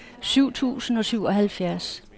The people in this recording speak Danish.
syv tusind og syvoghalvfjerds